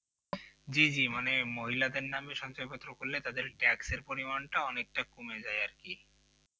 জিজি মানে মহিলাদের নামে সঞ্চয়পত্র করলে তাদের taxk এর পরিমাণটা অনেকটা কমে যায় আর কি